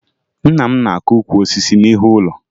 Nna m na-akụ ukwu osisi n'ihu ụlọ